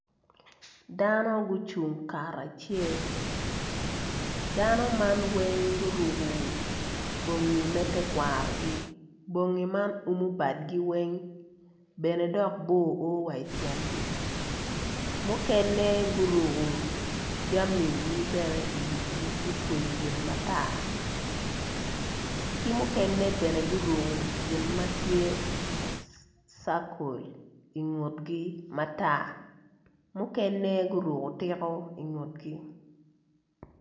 Dano gucung kacel dano man weng guruko bongi me terkwarogi bingi man umu badgi weng dok bene bor o wa ityengi mukene guruko jamigi bene iwigi gutweyo gin matar ki mukene bene guruku gin matye circle ingutgi matar mukene guruko tiko ingutgi